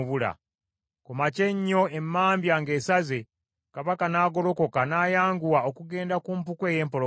Ku makya ennyo emambya ng’esaze, kabaka n’agolokoka n’ayanguwa okugenda ku mpuku ey’empologoma.